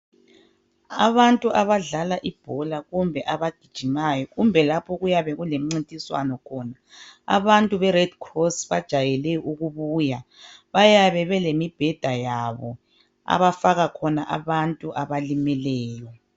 Abantu abadlala ibhola kumbe abagijimayo kumbe lapho okuyabe kulemincintiswano khona, abantu beRed Cross bajwayele ukubuya bayabe belemibheda yabo abafaka khona abantu abalimeleyo.